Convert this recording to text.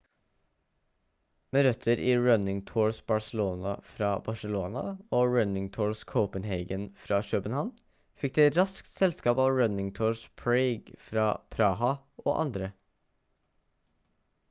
med røtter i running tours barcelona fra barcelona og running tours copenhagen fra københavn fikk det raskt selskap av running tours prague fra praha og andre